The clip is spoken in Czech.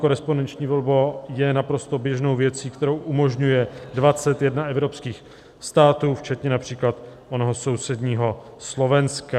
Korespondenční volba je naprosto běžnou věcí, kterou umožňuje 21 evropských států, včetně například onoho sousedního Slovenska.